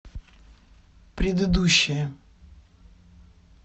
предыдущая